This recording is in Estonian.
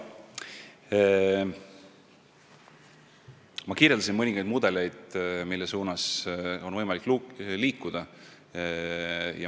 Ma kirjeldasin mõningaid mudeleid, mille suunas on võimalik liikuda.